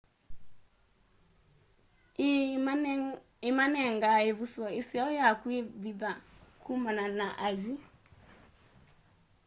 ii imanengaa ivuso iseo yakwivitha kumana na ay'i